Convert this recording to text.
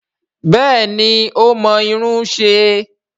Bẹ́ẹ̀ni ó mọ irun ṣe